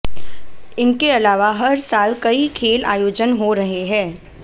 इनके अलावा हर साल कई खेल आयोजन हो रहे हैं